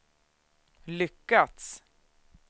lyckats